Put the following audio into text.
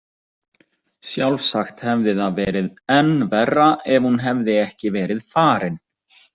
Sjálfsagt hefði það verið enn verra ef hún hefði ekki verið farin.